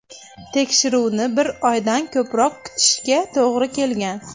Tekshiruvni bir oydan ko‘proq kutishga to‘g‘ri kelgan.